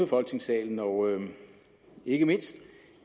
folketingssalen og ikke mindst